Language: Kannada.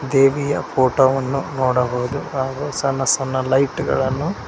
ದೇವಿಯ ಫೋಟೋ ವನ್ನು ನೋಡಬಹುದು ಹಾಗೂ ಸಣ್ಣ ಸಣ್ಣ ಲೈಟ್ ಗಳನ್ನು--